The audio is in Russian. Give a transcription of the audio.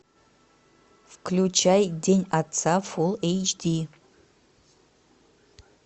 включай день отца фул эйч ди